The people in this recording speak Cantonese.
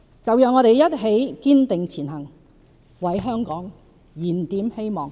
就讓我們一起堅定前行，為香港燃點希望！